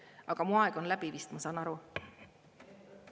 Aga mu aeg on läbi vist, ma saan aru.